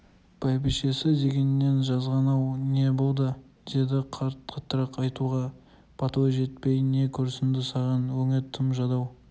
бәйбішесі дегеннен жазған-ау не болды деді қаттырақ айтуға батылы жетпей не көрінді саған өңі тым жадау